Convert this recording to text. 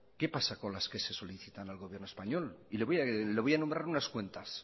qué pasa con las que se le solicitan al gobierno español y le voy a nombrar unas cuantas